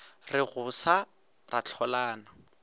re go sa ra hlolana